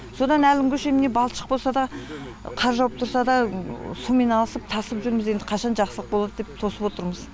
содан әлі күнге шейін міне балшық болса да қар жауып тұрса да сумен алысып тасып жүрміз енді қашан жақсылық болады деп тосып отырмыз